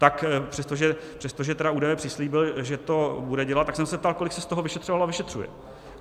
Tak přestože tedy údaje přislíbil, že to bude dělat, tak jsem se ptal, kolik se z toho vyšetřovalo a vyšetřuje.